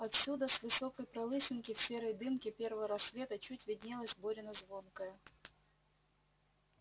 отсюда с высокой пролысинки в серой дымке первого рассвета чуть виднелась борина звонкая